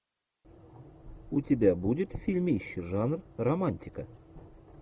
у тебя будет фильмище жанр романтика